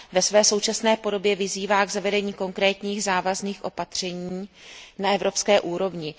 Ve své současné podobě vyzývá k zavedení konkrétních závazných opatření na evropské úrovni.